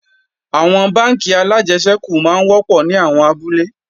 Àwọn bánkì alájẹsẹ́kù máa ń wọ́pọ̀ ní àwọn abúlé